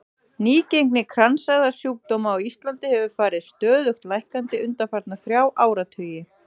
Nýgengi kransæðasjúkdóma á Íslandi hefur farið stöðugt lækkandi undanfarna þrjá áratugi.